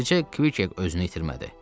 Bircə Kviket özünü itirmədi.